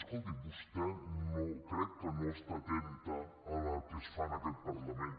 escolti’m vostè crec que no està atenta al que es fa en aquest parlament